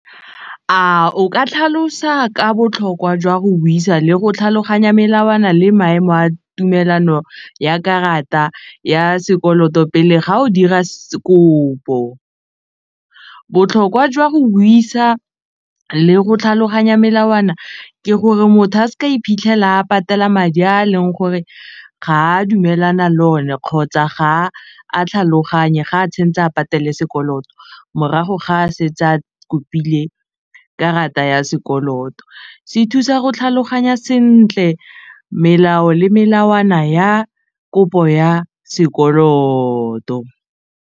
O ka tlhalosa ka botlhokwa jwa go buisa le go tlhaloganya melawana le maemo a tumelano ya karata ya sekoloto pele ga o dira kopo botlhokwa jwa go buisa le go tlhaloganya melawana ke gore motho a s'ka iphitlhela a patela madi a leng gore ga dumelana le o ne kgotsa ga a tlhaloganye ga a tshwentse a patele sekoloto morago ga a se etsa kopile karata ya sekoloto se thusa go tlhaloganya sentle melao le melawana ya kopo ya sekoloto.